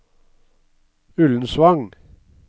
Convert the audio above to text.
Ullensvang